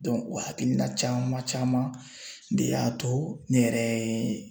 o hakilina caman caman de y'a to ne yɛrɛ ye